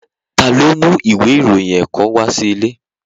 Ta ló mú ìwé ìròyìn ẹ̀kọ́ kan wá sí ilé?